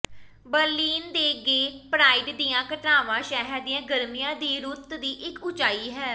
Berlin ਦੇ gay pride ਦੀਆਂ ਘਟਨਾਵਾਂ ਸ਼ਹਿਰ ਦੀ ਗਰਮੀਆਂ ਦੀ ਰੁੱਤ ਦੀ ਇੱਕ ਉਚਾਈ ਹੈ